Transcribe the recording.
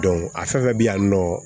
a fɛn fɛn bɛ yan nin nɔ